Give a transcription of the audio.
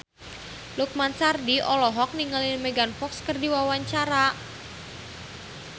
Lukman Sardi olohok ningali Megan Fox keur diwawancara